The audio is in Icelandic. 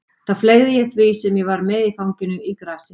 Þá fleygði ég því sem ég var með í fanginu í grasið.